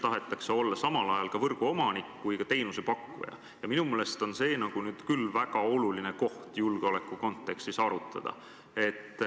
Tahetakse olla samal ajal nii võrguomanik kui ka teenusepakkuja ja minu meelest on see küll väga oluline koht, mida julgeoleku kontekstis arutada.